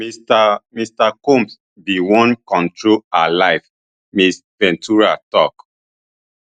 mr mr combs bin wan control her life ms ventura tok